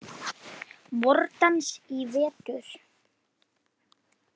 VorDans í vetur.